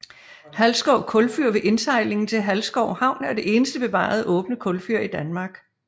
Halsskov kulfyr ved indsejlingen til Halsskov Havn er det eneste bevarede åbne kulfyr i Danmark